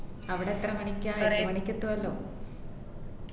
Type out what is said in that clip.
അവിടെ എത്ര മണിക്ക രണ്ടുമണിക്ക് ഏതുവല്ലോ